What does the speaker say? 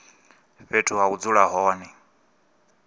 fhethu ha u dzula hone